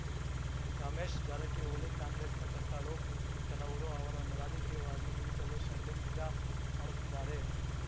ರಮೇಶ್‌ ಜಾರಕಿಹೊಳಿ ಕಾಂಗ್ರೆಸ್‌ನ ಕಟ್ಟಾಳು ಕ್ ಕೆಲವರು ಅವರನ್ನು ರಾಜಕೀಯವಾಗಿ ಮುಗಿಸಲು ಷಡ್ಯಂತ್ರ ಮಾಡುತ್ತಿದ್ದಾರೆ